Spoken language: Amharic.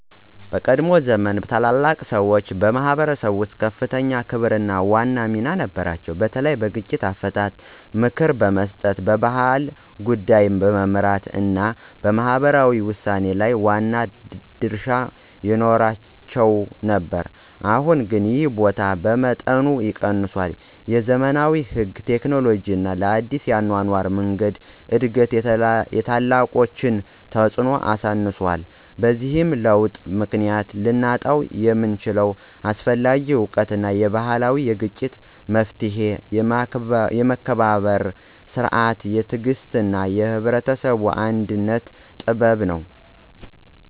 በቀድሞ ዘመን ታላላቅ ሰዎች በማኅበረሰብ ውስጥ ከፍተኛ ክብርና ዋና ሚና ነበራቸው፤ በተለይ በግጭት አፈታት፣ በምክር መስጠት፣ በባህል ጉዳዮች መመራት እና በማህበራዊ ውሳኔ ላይ ዋና ድርሻ ይኖራቸው ነበር። አሁን ግን ይህ ቦታ በመጠኑ ቀንሷል፤ የዘመናዊ ሕግ፣ ቴክኖሎጂ እና አዲስ የአኗኗር መንገዶች እድገት የታላቆችን ተፅዕኖ አነስቷል። በዚህ ለውጥ ምክንያት ልናጣው የምንችለው አስፈላጊ እውቀት የባህላዊ የግጭት መፍትሔ፣ የመከባበር ሥርዓት፣ የትዕግሥት እና የህብረተሰብ አንድነት ጥበብ ነው።